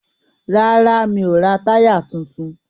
Rárá, mi ò ra táyà tuntun.